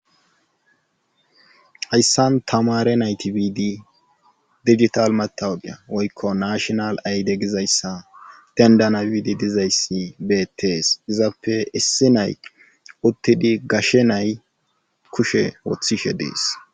Ayssan tamare nayti biidi digital matawogya woykko nashonal ayde gizayssa dendana wiidi dizayssi beettees izaappe issi nay uttidi gashe nay kushe woththishe dees